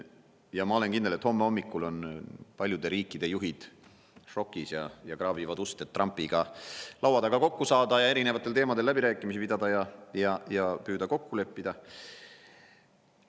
Ja ma olen kindel, et homme hommikul on paljude riikide juhid šokis ja kraabivad ust, et Trumpiga laua taga kokku saada, kõiksugu teemadel läbirääkimisi pidada ja püüda midagi kokku leppida.